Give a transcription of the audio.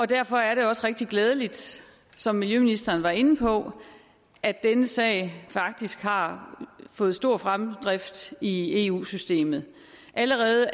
derfor er det også rigtig glædeligt som miljøministeren var inde på at denne sag faktisk har fået stor fremdrift i eu systemet allerede